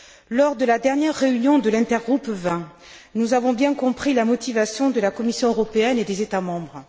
Lors de la dernière réunion de l'intergroupe vins, nous avons bien compris la motivation de la Commission européenne et des États membres.